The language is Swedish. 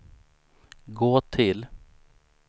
gå till